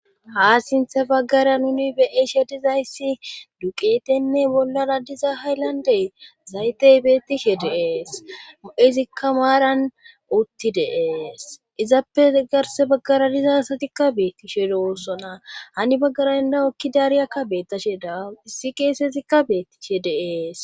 ha sinthe baggara nuni be'i she dizayssi duqetenne bollara diza hayllande zaytey beettishe de'es mo'ezikka maaran utti deees izappe garse baggara dizasatikka beettishe dowoossona hani baggara denda oekki daariyakka beettashe da issi keesezikka beettishe deees